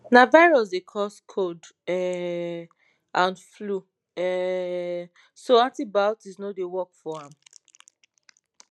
na virus dey cause cold um and flu um so antibiotics no dey work for am